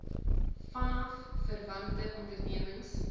vanaf verwante ondernemings